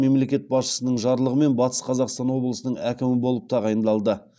мемлекет басшысының жарлығымен батыс қазақстан облысының әкімі болып тағайындалды